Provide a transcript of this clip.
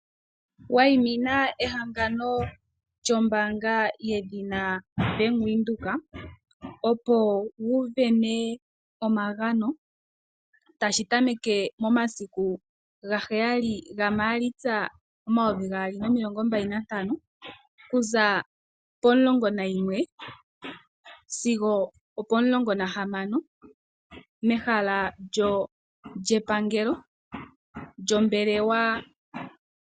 Wayimina ehangano lyombaanga yedhina Bank Windhoek opo wu isindanene omagano, tashi tameke momasiku 7 Maalitsa 2025 okuza potundi Ontimulongo nayimwe sigo opoNe yokomatango mehala lyepangelo.